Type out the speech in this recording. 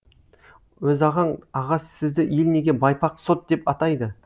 өзағаң аға сізді ел неге байпақ сот деп атайды